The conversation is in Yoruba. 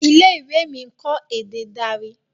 ilé-ìwé mí nkọ èdè Dari.